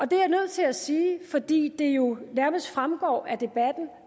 det er jeg nødt til at sige fordi det jo nærmest fremgår af debatten